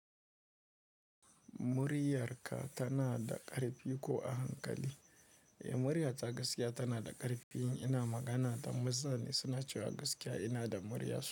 Muryarka tana da ƙarfi ko a hankali? Muryata gaskiya tana da ƙarfi. Ina magana da maza ne suna cewa gaskiya ina da murya.